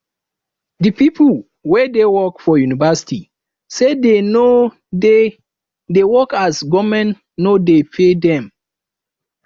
di pipu wey dey work for university sey dey no dey dey work as government no dey pay dem